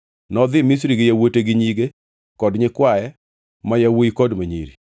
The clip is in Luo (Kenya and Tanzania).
Nodhi Misri gi yawuote gi nyige kod nyikwaye ma yawuowi kod ma nyiri.